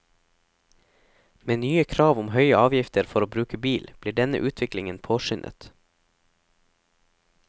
Med nye krav om høye avgifter for å bruke bil, blir denne utviklingen påskyndet.